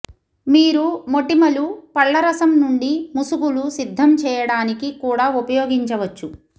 మీరు మోటిమలు పళ్లరసం నుండి ముసుగులు సిద్ధం చేయడానికి కూడా ఉపయోగించవచ్చు